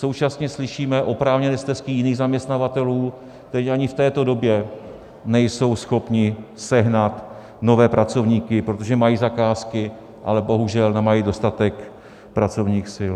Současně slyšíme oprávněné stesky jiných zaměstnavatelů, kteří ani v této době nejsou schopni sehnat nové pracovníky, protože mají zakázky, ale bohužel nemají dostatek pracovních sil.